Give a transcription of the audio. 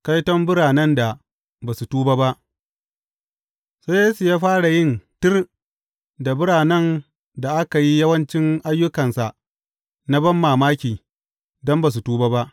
Kaiton biranen da ba su tuba ba Sai Yesu ya fara yin tir da biranen da aka yi yawancin ayyukansa na banmamaki, don ba su tuba ba.